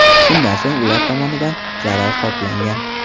Shundan so‘ng ular tomonidan zarar qoplangan.